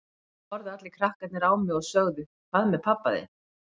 Þá horfðu allir krakkarnir á mig og sögðu Hvað með pabba þinn?